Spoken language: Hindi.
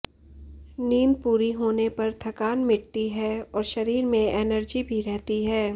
नींद पूरी होने पर थकान मिटती है और शरीर में एनर्जी भी रहती है